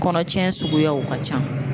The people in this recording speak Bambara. Kɔnɔ cɛn suguyaw ka ca.